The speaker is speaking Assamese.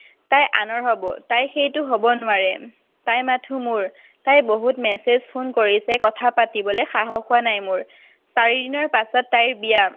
তাই আনৰ হব। তাই সেইটো হব নোৱাৰে। তাই মাথো মোৰ। তাই বহুত message, phone কৰিছে। কথা পাতিবলৈ সাহস হোৱা নাই মোৰ। চাৰিদিনৰ পাছত তাইৰ বিয়া।